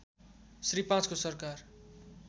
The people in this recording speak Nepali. श्री ५ को सरकार